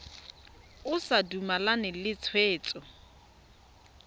o sa dumalane le tshwetso